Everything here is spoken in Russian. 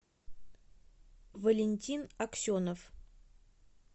валентин аксенов